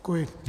Děkuji.